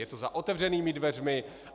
Je to za otevřenými dveřmi.